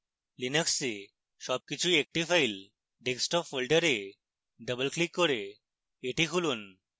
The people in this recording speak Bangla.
linux সবকিছুই একটি file desktop ফোল্ডারে ডবল ক্লিক করে এটি খুলুন